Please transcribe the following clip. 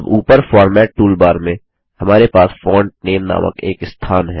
अब ऊपर format toolbar में हमारे पास फोंट नामे नामक एक स्थान है